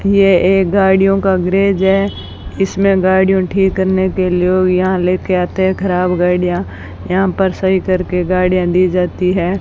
ये एक गाड़ियों का ग्रेज है इसमें गाड़ियों को ठीक करने के लोग यहां ले के आते हैं खराब गाड़ियां यहां पर सही करके गाड़ियां दी जाती हैं।